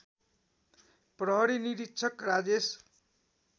प्रहरी निरीक्षक राजेश